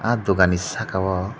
ah dogan ni saka o.